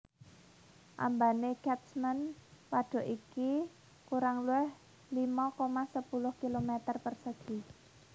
Ambane Catchment wadhuk iki kurang luwih limo koma sepuluh kilometer persegi